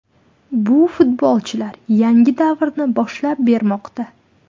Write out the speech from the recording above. Bu futbolchilar yangi davrni boshlab bermoqda.